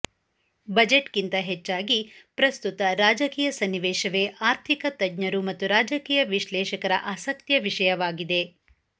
ಬಜೆಟ್ಗಿಂತ ಹೆಚ್ಚಾಗಿ ಪ್ರಸ್ತುತ ರಾಜಕೀಯ ಸನ್ನಿವೇಶವೇ ಆರ್ಥಿಕ ತಜ್ಞರು ಮತ್ತು ರಾಜಕೀಯ ವಿಶ್ಲೇಷಕರ ಆಸಕ್ತಿಯ ವಿಷಯವಾಗಿದೆ